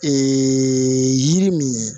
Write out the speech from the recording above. yiri min ye